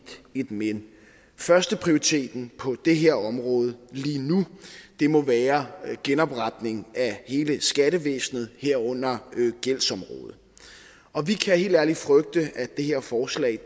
men førsteprioriteten på det her område lige nu må være genopretning af hele skattevæsenet herunder gældsområdet og vi kan helt ærligt frygte at det her forslag